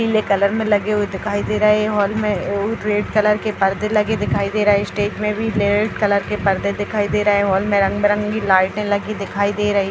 नीले कलर में लगे दिखाई दे रहे है हॉल में रेड कलर के पर्दे लगे दिखाई दे रहे हैं स्टेज में भी रेड कलर के पर्दे दिखाई दे रहे हैं हॉल में रंग-बिरंगे लाइटें लगी दिखाई दे रही --